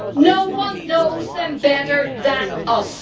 No one knows them better than us.